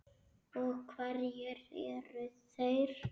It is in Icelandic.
Og hverjir eru þeir?